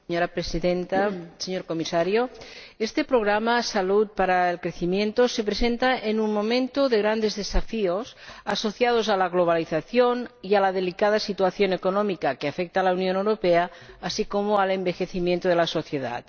Señora Presidenta, señor Comisario, este Programa de Salud para el Crecimiento se presenta en un momento de grandes desafíos asociados a la globalización y a la delicada situación económica que afecta a la Unión Europea, así como al envejecimiento de la sociedad.